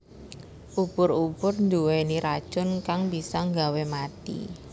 Ubur ubur nduweni racun kang bisa nggawe mati